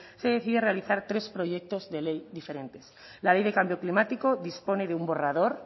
se decide realizar tres proyectos de ley diferentes la ley de cambio climático dispone de un borrador